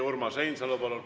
Urmas Reinsalu, palun!